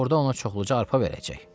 Orda ona çoxluca arpa verəcək.